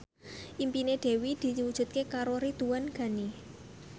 impine Dewi diwujudke karo Ridwan Ghani